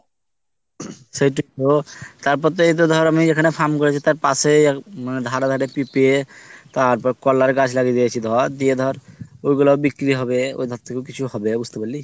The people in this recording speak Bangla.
সেই টুকু তো তারপর এইতো ধর আমি তো এইখানে farm করেছি তার পাশেই মানে ধারেগাতে পিফে তারপর কলাই এর গাছ লাগিয়ে দিয়েছি ধর দিয়ে ধর ঐগুলাও ব্রিক্রি হবে ওইধার থেকেও কিছু হবে বুঝতেপারলি